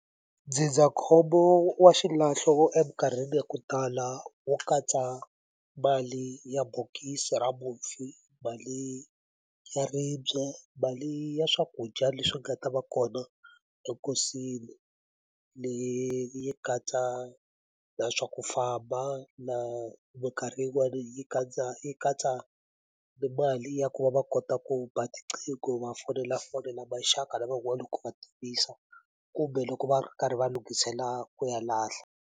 Ndzindzakhombo wa xilahlo eminkarhini ya ku tala wo katsa mali ya bokisi ra mufi mali ya ribye mali ya swakudya leswi nga ta va kona lenkosini leyi yi katsa na swa ku famba na minkarhi yin'wani yi katsa yi katsa mali ya ku va va kota ku ba tiqingho ku va fonela fonela maxaka na van'wani ku va tivisa kumbe loko va karhi va lunghisela ku ya lahla.